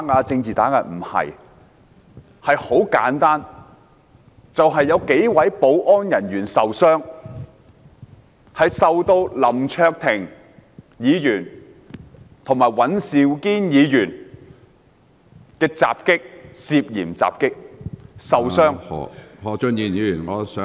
這項議案的起因很簡單，就是有幾位保安人員受到林卓廷議員和尹兆堅議員涉嫌襲擊而受傷......